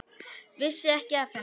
Vissi ekki af henni.